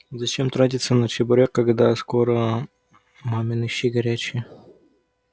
зачем тратиться на чебурек когда скоро мамины щи горячие